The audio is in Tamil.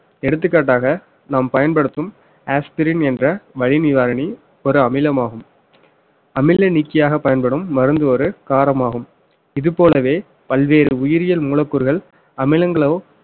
எடுத்துக்காட்டாக நாம் பயன்படுத்தும் aspirin என்ற வலி நிவாரணி ஒரு அமிலமாகும் அமிலம் நீக்கியாக பயன்படும் மருந்து ஒரு காரமாகும் இதுபோலவே பல்வேறு உயிரியல் மூலக்கூறுகள் அமிலங்களோ